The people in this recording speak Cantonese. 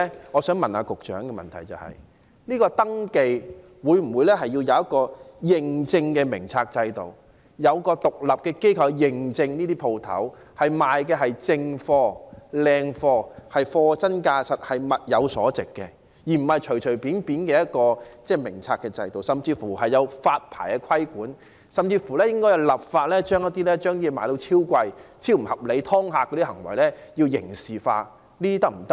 我想問局長，第一，會否就店鋪的登記設立一個認證制度，由獨立的機構對店鋪進行認證，確認它們售賣的是正貨、優質貨，是貨真價實、物有所值的，而不是隨便的一個名冊制度，甚至可否發牌規管，進一步來說更應該立法將貨物賣得"超貴"、超不合理、"劏客"的行為刑事化？